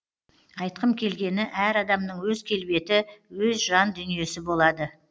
айтқым келгені әр адамның өз келбеті өз жан дүниесі болады